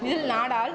இதில் நாடால்